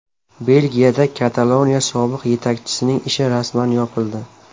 Belgiyada Kataloniya sobiq yetakchisining ishi rasman yopildi.